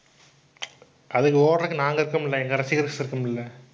அதுக்கு ஓடறதுக்கு நாங்க இருக்குமில்லை எங்க ரசிகர்கள் இருக்குமில்லை